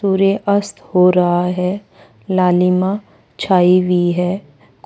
सूर्य अस्त हो रहा है लालिमा छाई हुई है